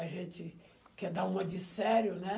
A gente quer dar uma de sério, né?